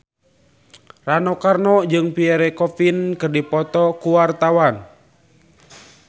Rano Karno jeung Pierre Coffin keur dipoto ku wartawan